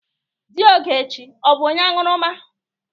Di Ogechi ọ bụ onye añụrụma?